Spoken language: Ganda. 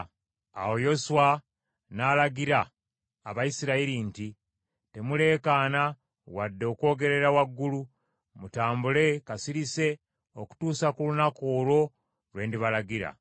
Awo Yoswa n’alagira Abayisirayiri nti, “Temuleekaana wadde okwogerera waggulu, mutambule kasirise okutuusa ku lunaku olwo lwe ndibalagira.”